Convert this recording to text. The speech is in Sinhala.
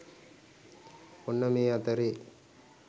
ඔන්න මේ අතරේ